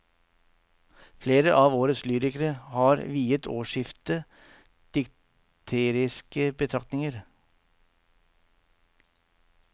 Flere av årets lyrikere har viet årsskiftet dikteriske betraktninger.